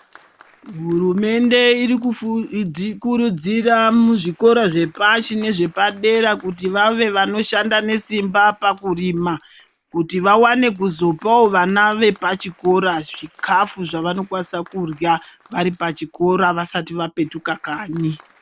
Hurumende irikukurudzira muzvikora zvepashi nezvepadera kuti vave vanoshanda nesimba pakurima kuti vawane kuzopawo vana vepachikora zvikafu zvavanokwanisa kurya varipachikora vasati vapetuka kanyi.